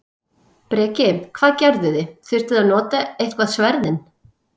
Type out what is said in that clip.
Breki: Hvað gerðuði, þurftuð þið að nota eitthvað sverðin?